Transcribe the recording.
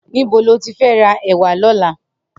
Nibó ló ti fè rà èwà lòlà?